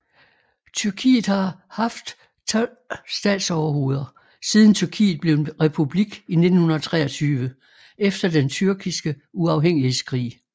Tyrkiet har haft 12 statsoverhoveder siden Tyrkiet blev en republik i 1923 efter den Tyrkiske uafhængighedskrig